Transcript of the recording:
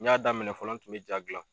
N y'a daminɛ fɔlɔ n tun be ja gilan